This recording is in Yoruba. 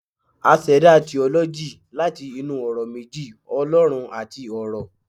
a seda 'theology' lati inú ọrọ meji 'olorun'ati 'oro'